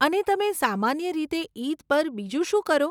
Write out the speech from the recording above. અને તમે સામાન્ય રીતે ઈદ પર બીજું શું કરો?